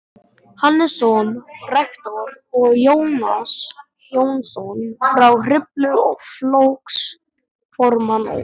Hannesson rektor og Jónas Jónsson frá Hriflu flokksformann og